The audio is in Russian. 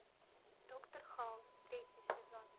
доктор хаус третий сезон